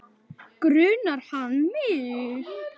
Grunar hann mig?